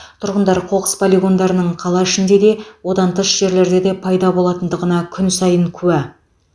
тұрғындар қоқыс полигондарының қала ішінде де одан тыс жерлерде де пайда болатындығына күн сайын куә